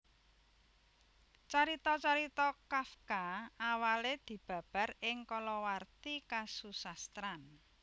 Carita carita Kafka awalé dibabar ing kalawarti kasusastran